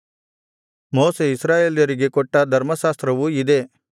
ಮೋಶೆ ಇಸ್ರಾಯೇಲರಿಗೆ ಕೊಟ್ಟ ಧರ್ಮಶಾಸ್ತ್ರವು ಇದೇ